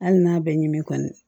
Hali n'a bɛɛ ɲimi kɔni